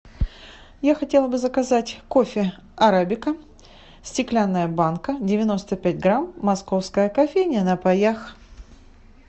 я хотела бы заказать кофе арабика стеклянная банка девяносто пять грамм московская кофейня на паях